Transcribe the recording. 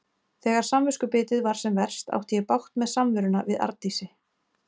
Þegar samviskubitið var sem verst átti ég bágt með samveruna við Arndísi.